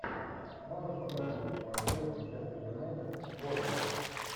можешь показать прямой эфир манчестер юнайтед борнмут